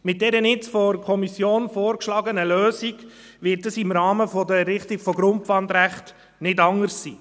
Mit dieser jetzt von der Kommission vorgeschlagenen Lösung wird dies im Rahmen der Errichtung von Grundpfandrechten nicht anders sein.